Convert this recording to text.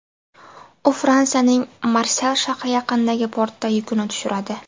U Fransiyaning Marsel shahri yaqinidagi portda yukini tushiradi.